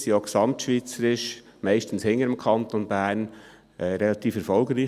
Diese war auch gesamtschweizerisch hinter dem Kanton Bern relativ erfolgreich.